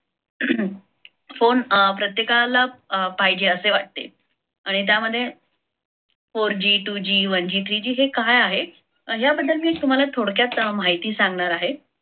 phone प्रत्येकाला पाहिजे असे वाटते आणि त्यामध्ये four g, two g, one g, three g हे काय आहे? याबद्दल मी तुम्हाला थोडक्यात माहिती सांगणार आहे.